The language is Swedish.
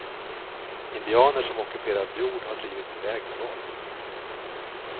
Indianer som ockuperat jord har drivits iväg med våld.